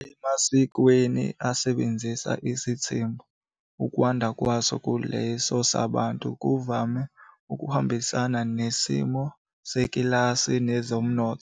Emasikweni asebenzisa isithembu, ukwanda kwaso kuleso sabantu kuvame ukuhambisana nesimo sekilasi nezomnotho.